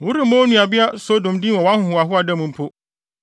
Woremmɔ wo nuabea Sodom din wɔ wʼahohoahoa da no mpo,